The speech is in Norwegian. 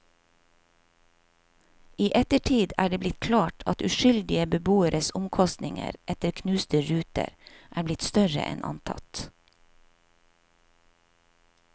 I ettertid er det blitt klart at uskyldige beboeres omkostninger etter knuste ruter er blitt større enn antatt.